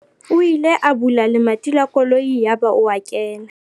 o ile a bula lemati la koloi yaba o a kena